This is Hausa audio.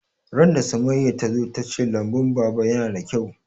Ran da Summaya ta zo ta ce lambun baba yana da kyau